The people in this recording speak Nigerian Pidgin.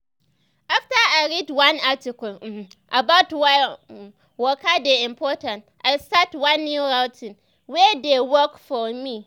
after i read one article um about why um waka dey important i start one new routine wey dey work for me.